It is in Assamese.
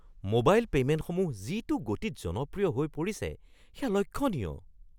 মোবাইল পে’মেণ্টসমূহ যিটো গতিত জনপ্ৰিয় হৈ পৰিছে সেয়া লক্ষণীয়।